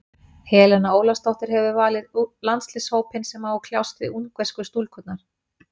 Helena Ólafsdóttir hefur valið landsliðshópinn sem á að kljást við ungversku stúlkurnar.